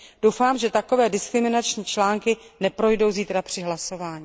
Doufám, že takové diskriminační články neprojdou zítra při hlasování.